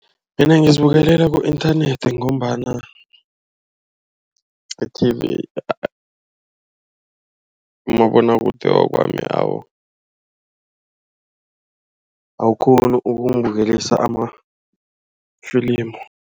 Mina ngizibukela ku-inthanethi ngombana i-TV, umabonwakude wakwami awukghoni ukungibukelisa amafilimi.